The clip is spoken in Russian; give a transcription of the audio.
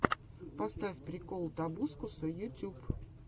поставь прикол тобускуса ютюб